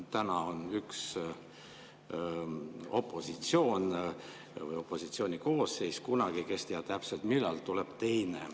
Täna on üks opositsiooni koosseis, kunagi – kes teab täpselt, millal – tuleb teine.